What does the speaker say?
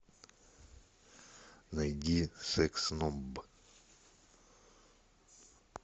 найди секс номб